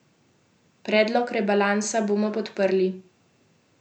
Predlog rebalansa bomo podprli.